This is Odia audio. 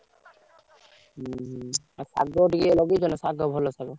ହଉ ଶାଗ ଏ ଲଗେଇଛ ନାଁ ଶାଗ?